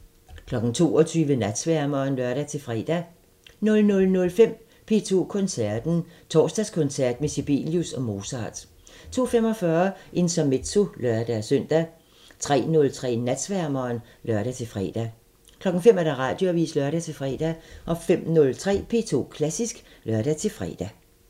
22:00: Natsværmeren (lør-fre) 00:05: P2 Koncerten – Torsdagskoncert med Sibelius og Mozart 02:45: Intermezzo (lør-søn) 03:03: Natsværmeren (lør-fre) 05:00: Radioavisen (lør-fre) 05:03: P2 Klassisk (lør-fre)